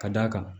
Ka d'a kan